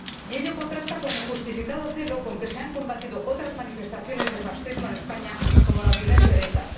Y ello contrasta con el justificado celo con que se han combatido otras manifestaciones de fascismo en España, como la violencia de ETA.